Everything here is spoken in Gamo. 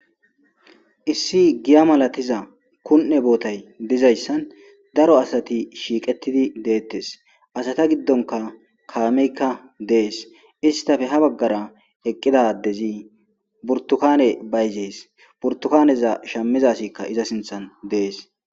Issi giya malatiza kun'e bootay dizayssan daro asati shiiqettidi deettes asata giddonka kaameykka dees istafe ha baggara eqqidadezi burtukane bayzees burtukaneza shamizasikka iza sinthan dees.